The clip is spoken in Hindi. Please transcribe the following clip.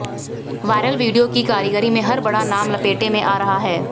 वायरल वीडियो की कारीगरी में हर बड़ा नाम लपेटे में आ रहा है